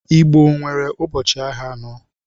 Igbo nwere ụbọchị ahịa anọ